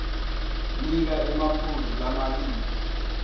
nika emaphuzu lamabili